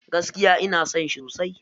Gaskia ina son shi sosai.